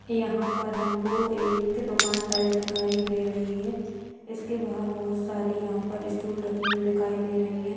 यहाँ पर हमको एक दुकान टाइप दिखाई दे रही है। इसके बाहर बहोत सारी यहाँ पर स्टूल रखी हुई दिखाई दे रही हैं।